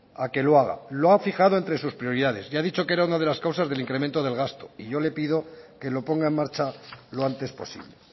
a que lo haga lo ha fijado entre sus prioridades y ha dicho que era una de las causas del incremento del gasto y yo le pido que lo ponga en marcha lo antes posible